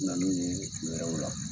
N nan'u ye wɛrɛw la.